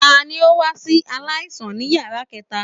Tani o wa si alaisan ni yara kẹta?